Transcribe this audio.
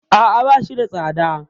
A'a, ba shi da tsada.